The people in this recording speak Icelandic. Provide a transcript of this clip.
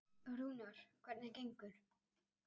Rúnar, hvernig gengur?